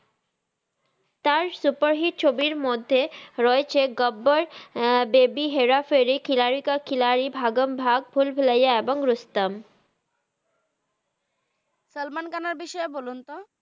তার super hit ছবির মধহে রয়েছে গাব্বার বেব্য হেরা ফেরি খিলারির কা খিলার ভাগাম ভাগ ভুল ভুলাইয়া এবং রুস্তাম সাল্মান খানের বিষয়ে বলুন তো